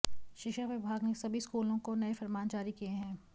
शिक्षा विभाग ने सभी स्कूलों को नए फरमान जारी किए हैं